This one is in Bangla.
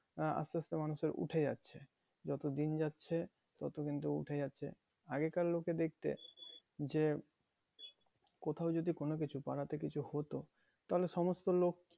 আহ আস্তে আস্তে মানুষের উঠে যাচ্ছে। যত দিন যাচ্ছে তত কিন্তু উঠে যাচ্ছে আগেকার লোকে দেখছি যে কোথায় যদি কোনো কিছু পাড়াতে কিছু হতো তাহলে সমস্ত লোক